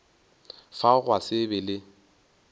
fao gwa se be le